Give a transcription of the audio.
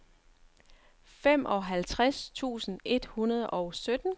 femoghalvtreds tusind et hundrede og sytten